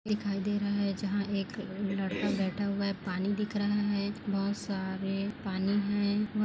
दिखाई दे रहा है जहाँ एक लड़का बैठा हुआ है पानी दिख रहा है बहोत सारे पानी है।